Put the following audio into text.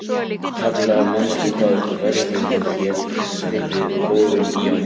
Kjalar, manstu hvað verslunin hét sem við fórum í á mánudaginn?